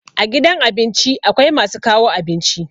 A gidan abinci akwai masu kawo abinci.